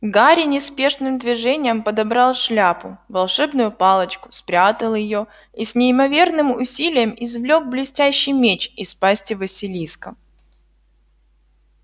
гарри неспешным движением подобрал шляпу волшебную палочку спрятал её и с неимоверным усилием извлёк блестящий меч из пасти василиска